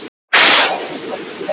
Ólafur kemur í gegn.